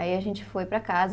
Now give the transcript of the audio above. Aí a gente foi para casa.